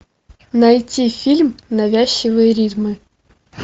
найти фильм навязчивые ритмы